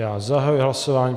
Já zahajuji hlasování.